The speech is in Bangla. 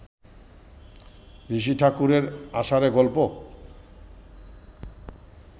ঋষি ঠাকুরের আষাঢ়ে গল্প